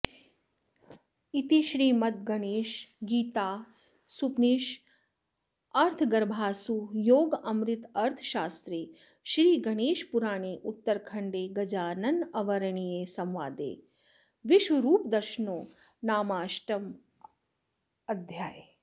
इति श्रीमद्गणेशगीतासूपनिषदर्थगर्भासु योगामृतार्थशास्त्रे श्रीगणेशपुराणे उत्तरखण्डे गजाननवरेण्यसंवादे विश्वरूपदर्शनो नामाष्टमोऽध्यायः